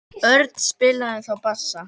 Örn spilaði þá á bassa.